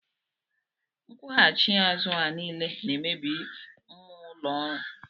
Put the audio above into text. Nkwughachi azụ a niile na-emebi mmụọ ụlọ ọrụ